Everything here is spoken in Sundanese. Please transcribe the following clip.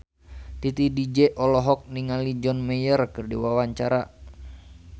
Titi DJ olohok ningali John Mayer keur diwawancara